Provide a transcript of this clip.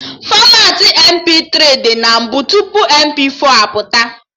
Fọmatị MP3 dị na mbụ tupu MP4 pụta